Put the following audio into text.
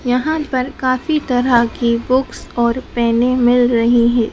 यहां पर काफी तरह की बुक्स और पेने मिल रही है।